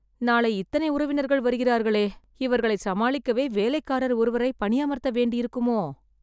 நாளை இத்தனை உறவினர்கள் வருகிறார்களே.. இவர்களை சமாளிக்கவே வேலைக்காரர் ஒருவரை பணியமர்த்த வேண்டியிருக்குமோ..